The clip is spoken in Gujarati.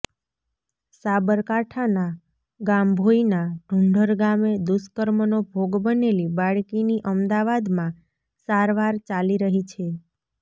સાબરકાંઠાના ગાંભોઈના ઢૂંઢર ગામે દુષ્કર્મનો ભોગ બનેલી બાળકીની અમદાવાદમાં સારવાર ચાલી રહી છે